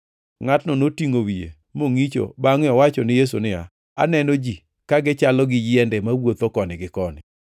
Ngʼatno notingʼo wiye, mongʼicho bangʼe owacho ni Yesu niya, “Aneno ji, ka gichalo gi yiende mawuotho koni gi koni.”